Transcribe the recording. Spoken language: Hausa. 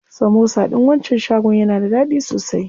Samosa ɗin wancan shagon yana da daɗi sosai.